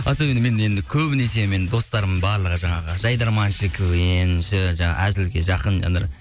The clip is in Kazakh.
особенно мен енді көбінесе мен достарымның барлығы жаңағы жайдарманшы квн шы жаңағы әзілге жақын жандар